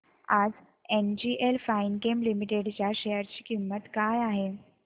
आज NGL Finechem limited च्या share ची किंमत किती आहे